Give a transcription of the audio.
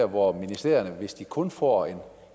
hvor ministerierne hvis de kun får